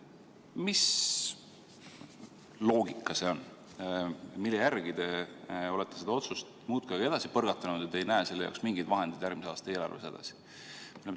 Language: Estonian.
Mis loogika see on, mille järgi te olete seda otsust muudkui edasi põrgatanud ja te ei näe selle jaoks mingeid vahendeid järgmise aasta eelarves?